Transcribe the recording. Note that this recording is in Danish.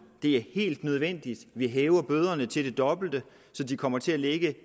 og det er helt nødvendigt vi hæver bøderne til det dobbelte så de kommer til at ligge